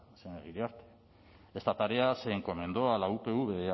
señora iriarte esta tarea se encomendó a la upv